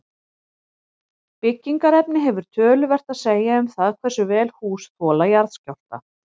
Byggingarefni hefur töluvert að segja um það hversu vel hús þola jarðskjálfta.